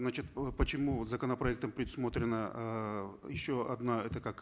значит э почему законопроектом предусмотрена эээ еще одна это как